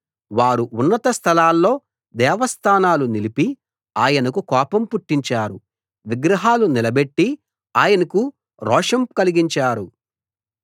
వారు ఉన్నత స్థలాల్లో దేవస్థానాలు నిలిపి ఆయనకు కోపం పుట్టించారు విగ్రహాలు నిలబెట్టి ఆయనకు రోషం కలిగించారు